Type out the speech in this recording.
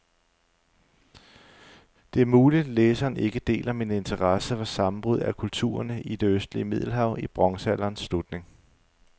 Det er muligt, læseren ikke deler min interesse for sammenbruddet af kulturerne i det østlige middelhav i bronzealderens slutning.